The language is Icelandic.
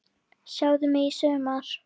Sjáðu mig sumar!